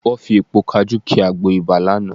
Wọ́n fi èpo kajú ki àgbo ibà lánàá